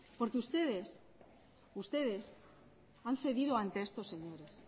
porque ustedes han cedido ante estos señores